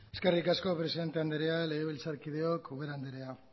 eskerrik asko presidente andrea legebiltzarkideok ubera andrea